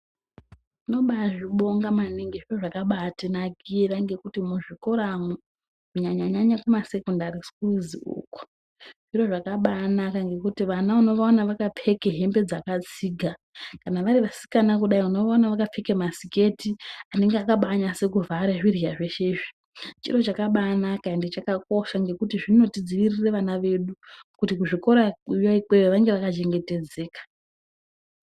Tino bazvibonga maningi, zviro zvakaba tinakira ngekuti muzvikoramu, kunyanya-nyanya muma sekondari sikuru uku, zviro zvakabaa naka ngekuti vana unovaone vakapfeke hembe dzakatsiga, kana vari vasikana kudai unovaona vakapfeka masiketi anoba akanasekuvhara zvirya zveshe izvi. Chiro chakabaanaka ende chakakosha endi zvakanaka pakuti zvinotidziirira vana vedu kuti kuzvikora ikweyo vanenge vaka hengetedzeka.